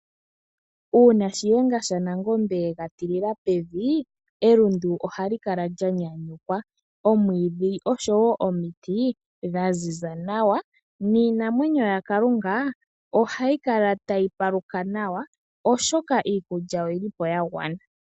Uuna Shiyenga shaNangombe ye ga tilila pevi, elundu ohali kala lya nyanyukwa. omwiidhi oshowo omiti dha ziza nawa niinamwenyo yaKalunga ohayi kala tayi paluka nawa, oshoka iikulya oyi li po ya gwana.